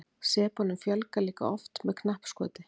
sepunum fjölgar líka oft með knappskoti